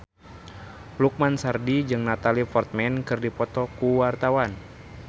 Lukman Sardi jeung Natalie Portman keur dipoto ku wartawan